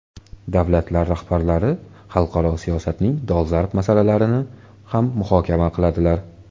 Davlatlar rahbarlari xalqaro siyosatning dolzarb masalalarini ham muhokama qildilar.